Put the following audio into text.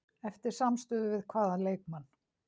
Eftir samstuð við hvaða leikmann?